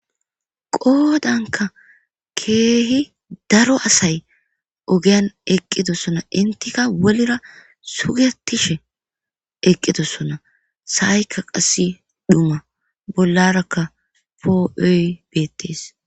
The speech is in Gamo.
Qoodanka keehi daro asay ogeyan eqqidossona intika wolira sugetishe eqqidossona sahaykka qassi dhuma bollarakka poo'oy bettes.